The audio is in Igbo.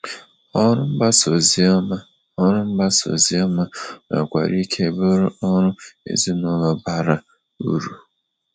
Ọrụ mgbasa oziọma Ọrụ mgbasa oziọma nwekwara ike bụrụ ọrụ ezinụlọ bara uru.